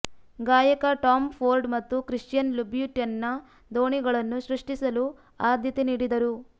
ಗಾಯಕ Tom Ford ಮತ್ತು Christian ಲುಬ್ಯುಟೆನ್ನ ದೋಣಿಗಳನ್ನು ಸೃಷ್ಟಿಸಲು ಆದ್ಯತೆ ನೀಡಿದರು